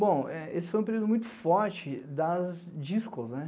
Bom, esse foi um período muito forte das discos, né?